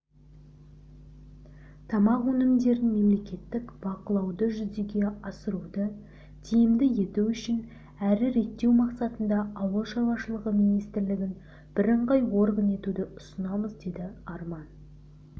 тамақ өнімдерін мемлекеттік бақылауды жүзеге асыруды тиімді ету үшін әрі реттеу мақсатында ауыл шаруашылығы министрлігін бірыңғай орган етуді ұсынамыз деді арман